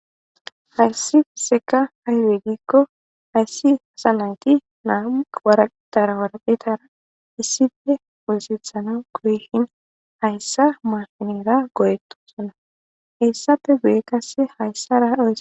hayssi seka hahiregikko hayssi hasa nayti naamu waratara waraphetara issife woossithana koyhin hayssa maafinera goyeto sona heyssappe guye kasse hayssa ra odee